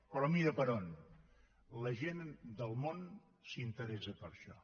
però mira per on la gent del món s’interessa per això